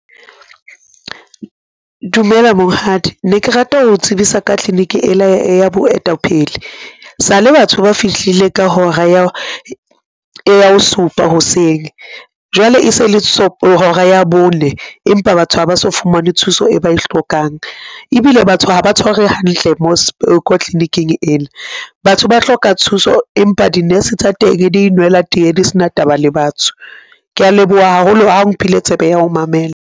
Dumela monghadi, ne ke rata ho tsebisa ka clinic ena ya boetapele sale batho ba fihlile ka hora ya bo supa hoseng jwale e se le hora ya bone, empa batho ha ba so fumane thuso e ba e hlokang ebile batho ha ba tshwarwe hantle mo clinic-ing ena, batho ba hloka thuso empa di-nurse tsa teng di inwella teye, di sena taba le batho. Kea leboha haholo ha o mphile tsebo ya ho mamela.